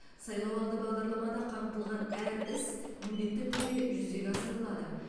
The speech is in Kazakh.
сайлауалды бағдарламада қамтылған әр іс міндетті түрде жүзеге асырылады